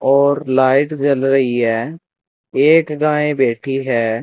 और लाइट जल रही है एक गायं बैठी है।